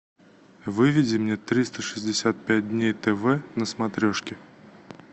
выведи мне триста шестьдесят пять дней тв на смотрешке